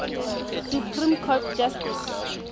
supreme court justice